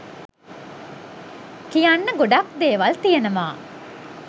කියන්න ගොඩක් දේවල් තියනවා